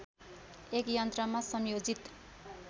एक यन्त्रमा संयोजित